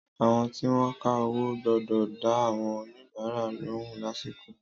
Àwọn tí wọn ka owó gbọ́dọ̀ dá àwọn oníbàárà lóhùn lásìkò.